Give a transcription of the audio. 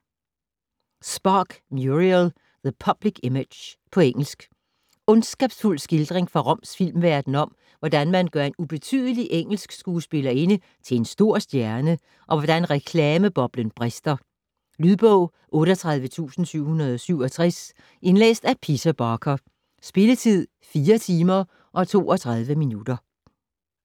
Spark, Muriel: The public image På engelsk. Ondskabsfuld skildring fra Roms filmverden om, hvordan man gør en ubetydelig engelsk skuespillerinde til en stor stjerne, og hvordan reklameboblen brister. Lydbog 38767 Indlæst af Peter Barker. Spilletid: 4 timer, 32 minutter.